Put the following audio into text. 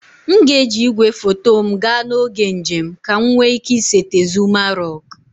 M ga-eji igwefoto m gaa n'oge njem ka m nwee ike isete Zuma rock